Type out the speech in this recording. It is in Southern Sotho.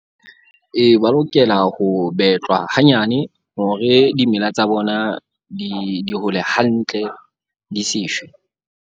Ee, ba lokela ho betlwa hanyane hore dimela tsa bona di hole hantle, di se shwe.